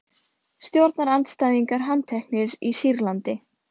Stjórnarandstæðingar handteknir í Sýrlandi